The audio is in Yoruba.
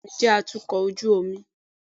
bẹẹni, bàbá mí jẹ atukọ̀ ojú omi.